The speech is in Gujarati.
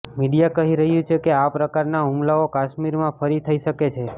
મીડિયા કહી રહ્યું છે કે આ પ્રકારના હુમલાઓ કાશ્મીરમાં ફરી થઈ શકે છે